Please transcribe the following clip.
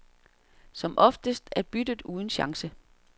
Som oftest er byttet uden chance.